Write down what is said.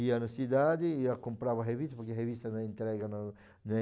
Ia na cidade ia comprava revista, porque revista não é entrega no